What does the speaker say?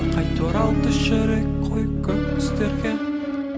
қайта оралды жүрек қою көк түстерге